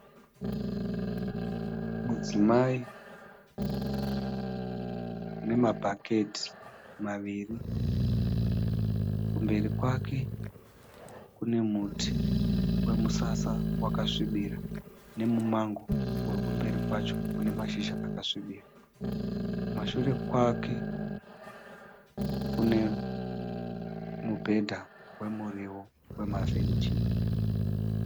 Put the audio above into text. Mudzimai nemabhaketi maviri, kumberi kwake kune muti wemusasa wakasvibira nemumango uri kumberi kwacho une mashizha akasvibira. Kumashure kwake kune mubhedha wemuriwo wemavheji